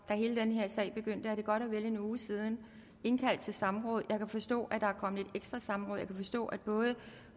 da hele den her sag begyndte og det er godt og vel en uge siden indkaldte til samråd jeg kan forstå at der er kommet et ekstra samråd jeg kan forstå at både